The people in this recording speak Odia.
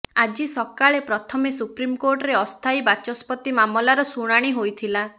ଆଜି ସକାଳେ ପ୍ରଥମେ ସୁପ୍ରିମ କୋର୍ଟରେ ଅସ୍ଥାୟୀ ବାଚସ୍ପତି ମାମଲାର ଶୁଣାଣି ହୋଇଥିଲା